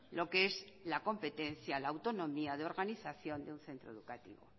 lo que es la competencia la autonomía de organización de un centro educativo